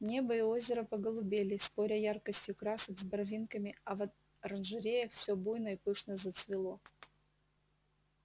небо и озеро поголубели споря яркостью красок с барвинками а в оранжереях всё буйно и пышно зацвело